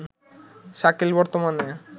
শাকিল বর্তমানে